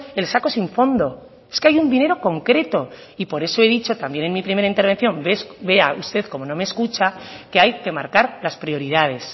el saco sin fondo es que hay un dinero concreto y por eso he dicho también en mi primera intervención vea usted como no me escucha que hay que marcar las prioridades